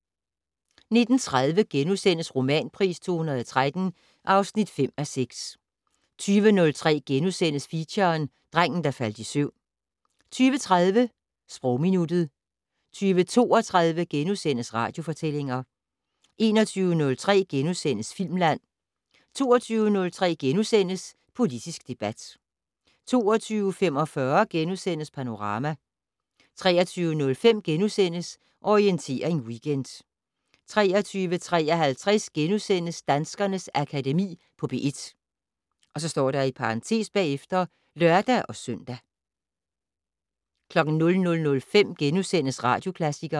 19:30: Romanpris 2013 (5:6)* 20:03: Feature: Drengen, der faldt i søvn * 20:30: Sprogminuttet 20:32: Radiofortællinger * 21:03: Filmland * 22:03: Politisk debat * 22:45: Panorama * 23:05: Orientering Weekend * 23:53: Danskernes Akademi på P1 *(lør-søn) 00:05: Radioklassikeren *